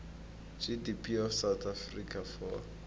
gdp of south africa for